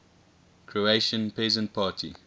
croatian peasant party